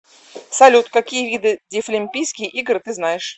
салют какие виды дефлимпийские игры ты знаешь